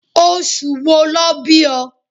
Oṣù wo lọ bí o?